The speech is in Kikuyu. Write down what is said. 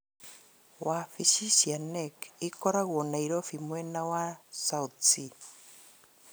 Wabici cia KNEC ikoragwo Nairobi mwena wa South C